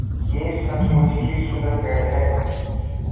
यह सचमुच ही सुन्दर पेड़ है